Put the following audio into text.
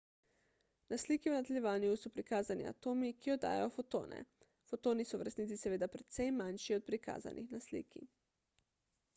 na sliki v nadaljevanju so prikazani atomi ki oddajajo fotone fotoni so v resnici seveda precej manjši od prikazanih na sliki